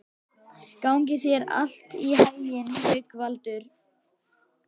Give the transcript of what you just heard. Gangi þér allt í haginn, Haukvaldur.